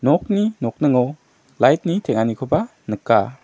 okni nokningo lait ni teng·anikoba nika.